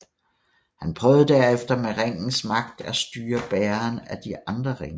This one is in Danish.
Han prøvede derefter med ringens magt at styre bærerne af de andre ringe